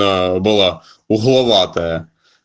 была угловатая